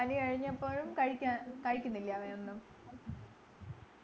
പനി കഴിഞ്ഞപ്പോഴും കഴിക്കാ കഴിക്കുന്നില്ലേ അവനൊന്നും